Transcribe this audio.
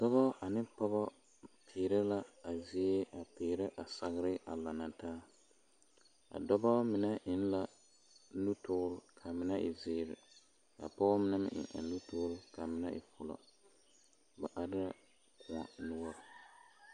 Dɔbɔ ane pɔgɔ peerɛ la a zie a peerɛ a sagre a laŋ na taa a dɔbɔ mine eŋ la nutoore ka a mine e zeere ka pɔge mine eŋ a nutoore ka a mine e fulo ba are la kõɔ noɔre.